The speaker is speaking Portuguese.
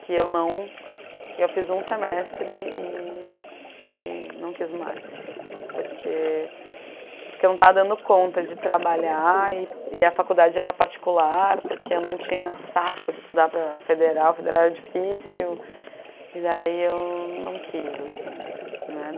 que eu não, eu fiz um semestre e e não quis mais, porque porque eu não estava dando conta de trabalhar, e e a faculdade era particular, porque eu não tinha saco de estudar para a Federal, a Federal era difícil, e daí eu não quis assim, né.